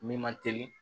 Min ma teli